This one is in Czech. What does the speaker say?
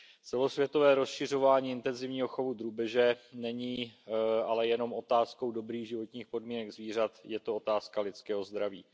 Celosvětové rozšiřování intenzivního chovu drůbeže není ale jenom otázkou dobrých životních podmínek zvířat, je to otázka lidského zdraví.